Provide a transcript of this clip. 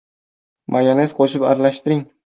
Mayonez qo‘shib aralashtiring.